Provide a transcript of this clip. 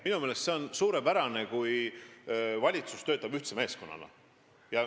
Minu meelest on see suurepärane, kui valitsus töötab ühtse meeskonnana.